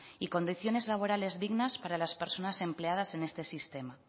y condiciones laborales dignas para las personas empleadas en este sistema